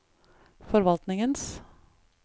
forvaltningens